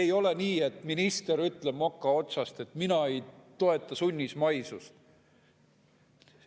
Ei ole nii, et minister ütleb moka otsast, et tema ei toeta sunnismaisust.